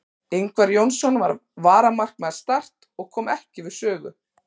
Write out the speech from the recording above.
Ingvar Jónsson var varamarkvörður Start og kom ekki við sögu.